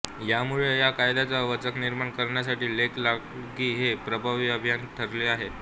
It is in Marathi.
यामुळे या कायद्याचा वचक निर्माण करण्यासाठी लेक लाडकी हे प्रभावी अभियान ठरले आहे